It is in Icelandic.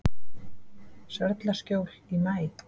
Sörlaskjóli í maí